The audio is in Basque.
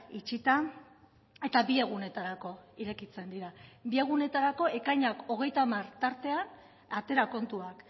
itxita eta bi egunetarako irekitzen dira bi egunetarako ekainak hogeita hamar tartean atera kontuak